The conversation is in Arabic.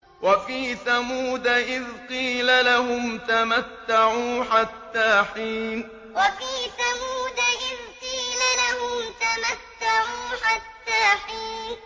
وَفِي ثَمُودَ إِذْ قِيلَ لَهُمْ تَمَتَّعُوا حَتَّىٰ حِينٍ وَفِي ثَمُودَ إِذْ قِيلَ لَهُمْ تَمَتَّعُوا حَتَّىٰ حِينٍ